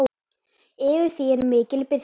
Yfir því er mikil birta.